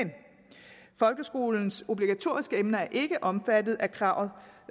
folkeskolens obligatoriske emner er ikke omfattet af kravet